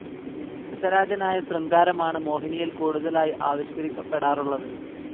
രസരാജനായ ശൃംഗാരമാണ് മോഹിനിയിൽ കൂടുതലായി ആവിഷ്കരിക്കപ്പെടാറുള്ളത്.